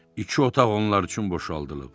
İki otaq onlar üçün boşaldılıb.